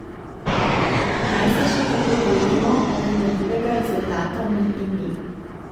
Naj se še tako trudimo, oprijemljivega rezultata ni in ni.